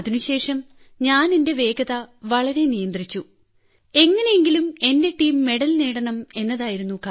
അതിനുശേഷം ഞാൻ എന്റെ വേഗത വളരെ നിയന്ത്രിച്ചു എങ്ങനെയെങ്കിലും എന്റെ ടീം മെഡൽ നേടണം എന്നായിരുന്നു